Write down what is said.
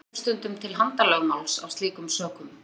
Kom jafnvel stundum til handalögmáls af slíkum sökum.